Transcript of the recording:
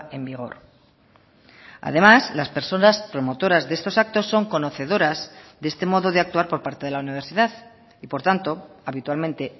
en vigor además las personas promotoras de estos actos son conocedoras de este modo de actuar por parte de la universidad y por tanto habitualmente